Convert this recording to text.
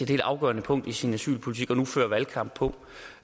helt afgørende punkt i sin asylpolitik og nu fører valgkamp på